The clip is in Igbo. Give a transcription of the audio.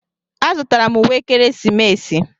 Azụtara m uwe ekeresimesi.